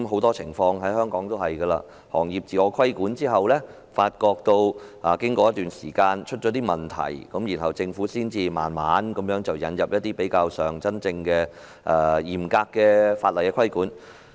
在香港，行業自我規管實施一段時間後，往往發覺出現問題，政府才逐步引入較為嚴格的法例規管。